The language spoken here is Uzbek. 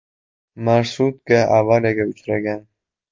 Marshrutka avariyaga uchragan.